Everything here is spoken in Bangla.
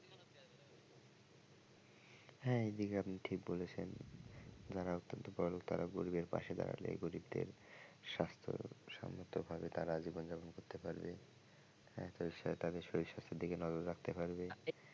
হ্যাঁ এই জায়গায় আপনি ঠিক বলেছেন যারা অত্যান্ত বড়লোক তারা গরিবের পাশে দাঁড়ালে গরিবদের স্বাস্থ্যসম্মতভাবে তারা জীবন যাপন করতে পারবে তাদের শরীর স্বাস্থ্যের দিকে নজর রাখতে পারবে।